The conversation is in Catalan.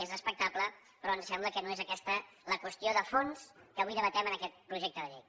és respectable però ens sembla que no és aquesta la qüestió de fons que avui debatem en aquest projecte de llei